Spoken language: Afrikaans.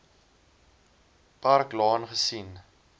park laan gesien